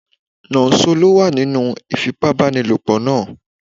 Nonso ló wà nínú ìfipábánilòpọ̀ náà